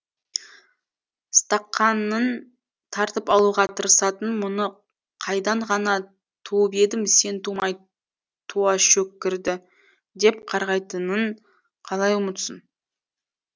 стақанын тартып алуға тырысатын мұны қайдан ғана туып едім сен тумай туа шөккірді деп қарғайтынын қалай ұмытсын